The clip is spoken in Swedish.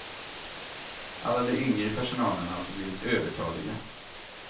Alla de yngre i personalen har alltså blivit övertaliga.